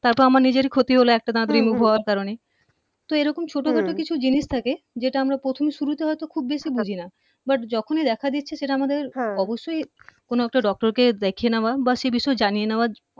তারপর আমার নিজেরই ক্ষতি হলো একটা দাত remove হওয়ার কারনে তো এই রকম ছোট ছোট হম কিছু জিনিস থাকে যেটা আমরা প্রথম শুরুতে হয়তো খুব বেশি বুঝিনা but যখনই দেখা দিচ্ছে সেটা আমাদের অবশ্যই কোন একটা doctor কে দেখিয়ে নেওয়া বা সে বিষয়ে জানিয়ে নেওয়া